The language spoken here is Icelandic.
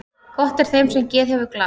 Gott er þeim sem geð hefur glatt.